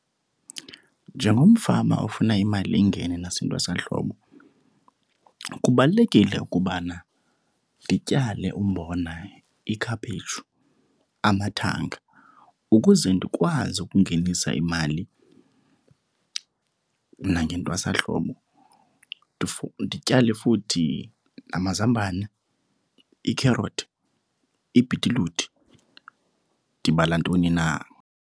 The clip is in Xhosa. Njengomfama ofuna imali ingene nasentwasahlobo kubalulekile ukubana ndityale umbona, ikhaphetshu, amathanga ukuze ndikwazi ukungenisa imali nangentwasahlobo. Ndityale futhi amazambane, iikherothi, ibhitiluti, ndibala ntoni na.